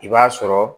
I b'a sɔrɔ